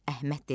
Əhməd dedi: